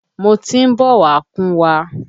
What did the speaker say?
Wọ́n tí ń bọ̀ wá kúnwa.